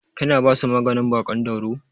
Kina basu maganin baƙon dauro?